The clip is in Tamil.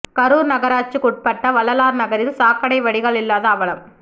கரூர் நகராட்சிக்குட்பட்ட வள்ளலார் நகரில் சா க்கடை வடிகால் இல்லாத அவலம்